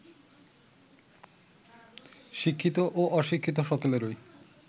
শিক্ষিত ও অশিক্ষিত সকলেরই